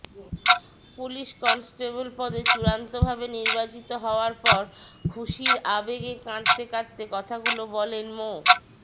police constable পদে চূড়ান্তভাবে নির্বাচিত হওয়ার পর খুশির আবেগে কাঁদতে কাঁদতে কথাগুলো বলেন মো